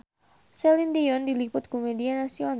Celine Dion diliput ku media nasional